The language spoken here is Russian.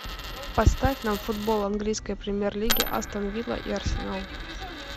поставь нам футбол английской премьер лиги астон вилла и арсенал